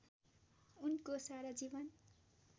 उनको सारा जीवन